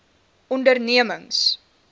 ondernemings